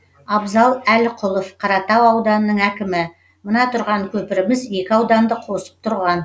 абзал әліқұлов қаратау ауданының әкімі мына тұрған көпіріміз екі ауданды қосып тұрған